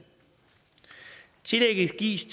tillægget gives